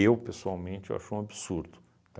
pessoalmente, eu acho um absurdo.